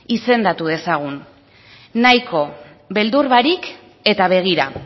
izendatu dezagun nahiko beldur barik eta begira